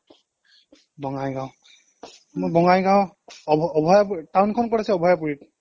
বঙাইগাঁও মই বঙাইগাঁও town খন ক'ত আছে অভায়াপুৰী